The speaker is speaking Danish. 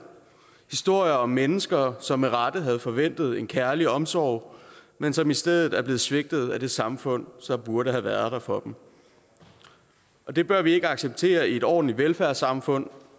historier om mennesker som med rette havde forventet en kærlig omsorg men som i stedet er blevet svigtet af det samfund som burde have været der for dem det bør vi ikke acceptere i et ordentligt velfærdssamfund